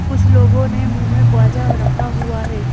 कुछ लोगों ने मुंह में बवाजा रखा हुआ है।